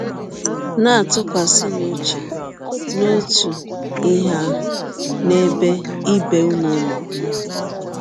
Na - atụkwasịnụ ụche n’ọtụ ihe ahụ n’ebe ibe ụnụ nọ. ”